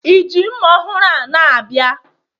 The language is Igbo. i ji mma ọhụrụ a na-abịa?